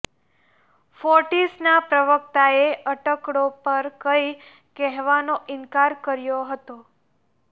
ફોર્ટિસના પ્રવક્તાએ અટકળો પર કંઈ કહેવાનો ઇનકાર કર્યો હતો